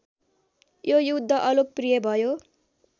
यो युद्ध अलोकप्रिय भयो